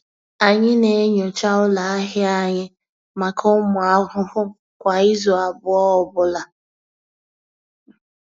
Anyị na-enyocha ụlọ ahịa anyị maka ụmụ ahụhụ kwa izu abụọ ọ bụla.